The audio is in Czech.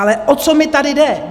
Ale o co mi tady jde.